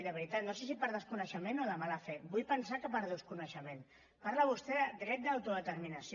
de veritat no sé si per desconeixement o de mala fe vull pensar que per desconeixement parla vostè del dret d’autodeterminació